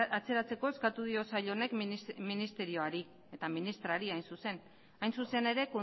atzeratzeko eskatu dio sail honek ministerioari eta ministroari hain zuzen hain zuzen ere